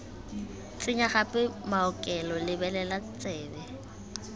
tsenya gape maokelo lebelela tsebe